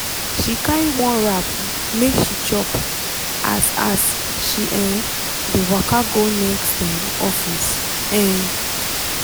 she carry one wrap make she chop as as she um dey waka go next um office. um